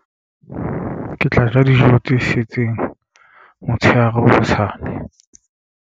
Ke tla ja dijo tse setseng motshehare hosane.